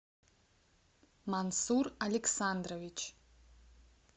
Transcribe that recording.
мансур александрович